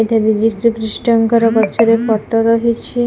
ଏଟା ଯୀ ଯୀଶୁଖ୍ରୀଷ୍ଟଙ୍କର ପଛରେ ଫଟୋ ରହିଛି ।